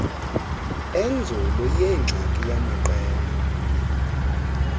enzulu yengxaki yamaqela